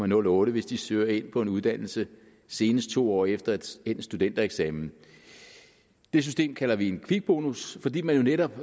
nul otte hvis de søger ind på en uddannelse senest to år efter endt studentereksamen det system kalder vi en kvikbonus fordi man jo netop